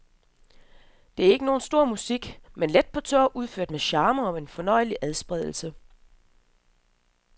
Det er ikke nogen stor musik, men let på tå, udført med charme, og en fornøjelig adspredelse.